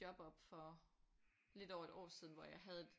Job op for lidt over et år siden hvor jeg havde et